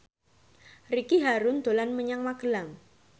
Ricky Harun dolan menyang Magelang